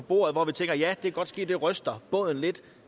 bordet hvor vi tænker at det godt kan ske det ryster båden lidt